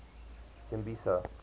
tembisa